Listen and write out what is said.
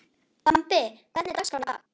Bambi, hvernig er dagskráin í dag?